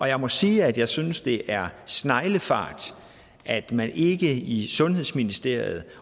jeg må sige at jeg synes det er sneglefart at man ikke i sundhedsministeriet